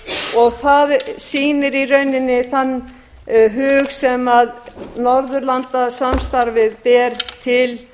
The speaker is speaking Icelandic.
barnabókmenntaverðlaun það sýnir í rauninni þann hug sem norðurlandasamstarfið ber til